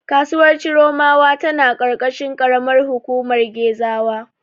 Kasuwar Chiromawa tana ƙarƙashin ƙaramar hukumar Gezawa.